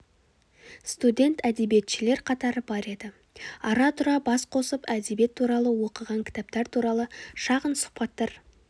студент әдебиетшілер қатары бар еді ара-тұра бас қосып әдебиет туралы оқыған кітаптар туралы шағын сұхбаттар